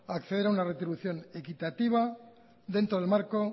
acceder a una retribución equitativa dentro del marco